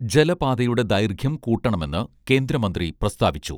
ജലപാതയുടെ ദൈർഘ്യം കൂട്ടണമെന്ന് കേന്ദ്രമന്ത്രി പ്രസ്താവിച്ചു